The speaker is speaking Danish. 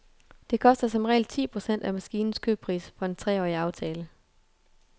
Det koster som regel ti procent af maskinens købspris for en treårig aftale.